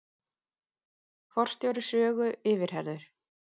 Forstjóri Sögu yfirheyrður